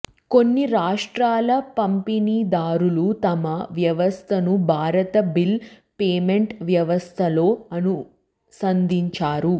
కొన్ని రాష్ట్రాల పంపిణీదారులు తమ వ్యవస్థను భారత్ బిల్ పేమెంట్ వ్యవస్థతో అనుసంధానించారు